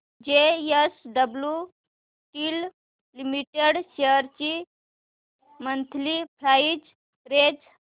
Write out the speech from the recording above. JSW steel limited shares ची monthly price range